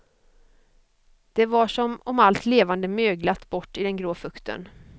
Det var som om allt levande möglat bort i den grå fukten.